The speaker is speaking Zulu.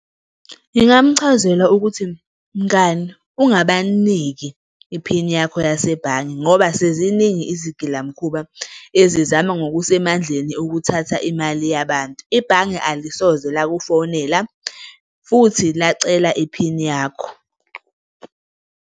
Ngingamchazela ukuthi mngani, ungabaniki iphini yakho yasebhange ngoba seziningi izigilamkhuba ezizama ngokusemandleni ukuthatha imali yabantu. Ibhange alisoze lakufonela futhi lacela iphini yakho.